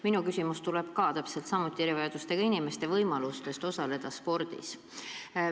Minu küsimus on samuti erivajadustega inimeste võimaluste kohta osaleda spordis.